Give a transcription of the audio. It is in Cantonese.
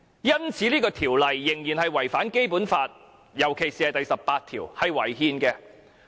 因此，這項《條例草案》顯然違反了《基本法》，尤其第十八條。